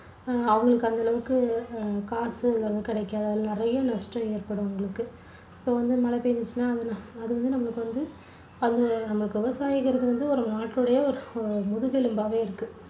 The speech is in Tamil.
அவங்களுக்கு அந்த அளவுக்கு அஹ் காசு அதெல்லாம் கிடைக்காது அதுல நிறைய நஷ்டம் ஏற்படும் அவங்களுக்கு. இப்போ வந்து மழை பெஞ்சிருச்சுனா அது வந்து நமக்கு வந்து அவங்க நமக்கு விவசாயிங்கிறது வந்து ஒரு நாட்டோட முதுகெலும்பாவே இருக்கு